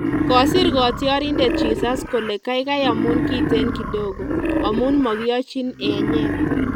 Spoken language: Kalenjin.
Kosir katyarindet Jesus kole kaikai amun kiten kidogo amun makiyochin enyeet